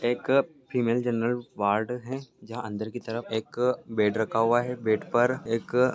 एक female general ward हैं जहाँ अंदर की तरफ एक बेड रखा हुआ है बेड पर एक--